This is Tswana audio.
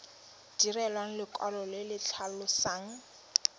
direlwa lekwalo le le tlhalosang